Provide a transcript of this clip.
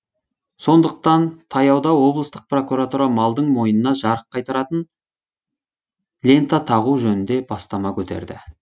сондықтан таяуда облыстық прокуратура малдың мойнына жарық қайтаратын лента тағу жөнінде бастама көтерді